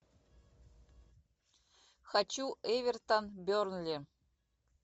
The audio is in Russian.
хочу эвертон бернли